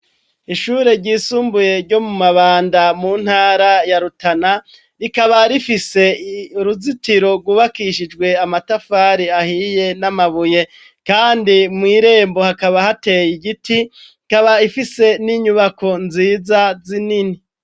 Ishure ryisumbuye, ryo mu Mabanda, mu ntara ya Rutana, rikaba rifise uruzitiro rwubakishijwe amatafari ahiye n'amabuye; kandi mw'irembo, hakaba hateye igiti, ikaba ifise n'inyubako nziza zinini.